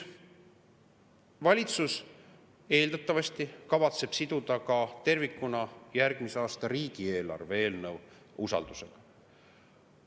Valitsus eeldatavasti kavatseb siduda ka tervikuna järgmise aasta riigieelarve eelnõu usaldusega.